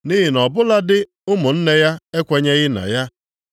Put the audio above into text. Nʼihi na ọ bụladị ụmụnne ya ekwenyeghị na ya.